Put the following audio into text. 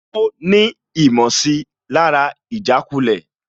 Ó rí ìmọ̀sílára ìjàkulẹ̀